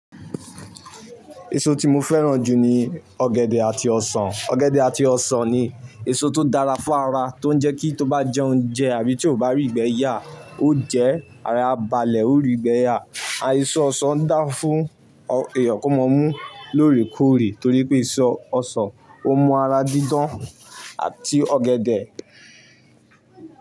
Èso tí mo fẹ́ràn jù ni ọ̀gẹ̀dẹ̀ àti ọ̀ṣan. Ọ̀gẹ̀dẹ̀ àti ọ̀ṣan ni èso tó dára fún ara tó ń jẹ́ kí tó bá jẹ oúnjẹ àbí tí ó bá rí ìgbẹ́ yà, ó jẹ́, ara e a balẹ̀ ó rí ìgbẹ́ yà. Àìsàn ọ̀ṣan ń dá fún ọ èèyàn kó máa mú lórèkórè torí pé èso ọ̀ṣan ó mú ara dídán àti ọ̀gẹ̀dẹ̀